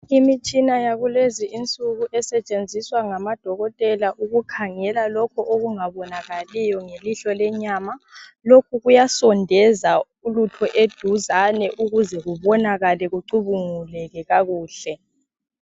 Imitshina yakulezi insuku esetshenziswa ngama Dokotela ukukhangela lokhu okungabonakaliyo ngelihlo lenyama. Lokhu kuyasondeza ulutho eduzane ukuze kubonakale kucubunguleke kakuhle.